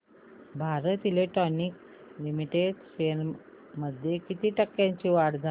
Bharat electronics limited shares मध्ये किती टक्क्यांची वाढ झाली